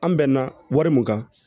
An bɛnna wari mun kan